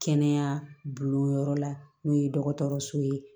Kɛnɛya bulon yɔrɔ la n'o ye dɔgɔtɔrɔso ye